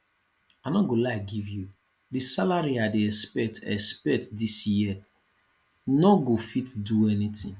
i no go lie give you the salary i dey expect expect dis year no go fit do anything